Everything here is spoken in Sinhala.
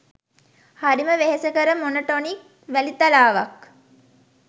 හරිම වෙහෙසකර මොනොටොනික් වැලිතලාවක්